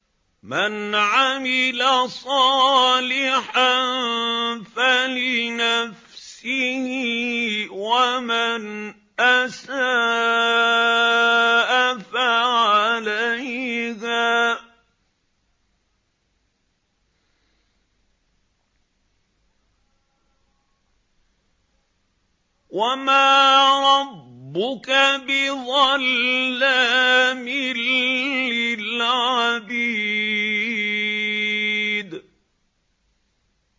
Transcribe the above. مَّنْ عَمِلَ صَالِحًا فَلِنَفْسِهِ ۖ وَمَنْ أَسَاءَ فَعَلَيْهَا ۗ وَمَا رَبُّكَ بِظَلَّامٍ لِّلْعَبِيدِ